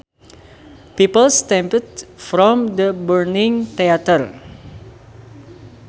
People stampeded from the burning theater